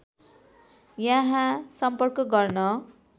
यहाँ सम्पर्क गर्न